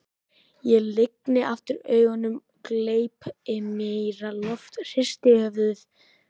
Ég lygni aftur augunum, gleypi meira loft, hristi höfuðið.